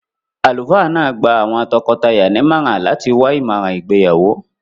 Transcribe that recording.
Àlùfáà náà gba àwọn tọkọtaya ní ìmọ̀ràn láti wá ìmọ̀ràn ìgbéyàwó.